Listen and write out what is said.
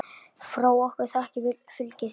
Frá okkur þakkir fylgi þér.